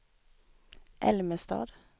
Älmestad